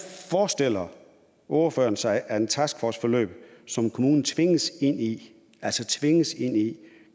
forestiller ordføreren sig at et taskforceforløb som kommunen tvinges ind i altså tvinges ind i